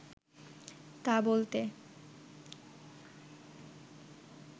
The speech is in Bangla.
তা বলতে